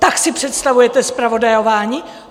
Tak si představujete zpravodajování?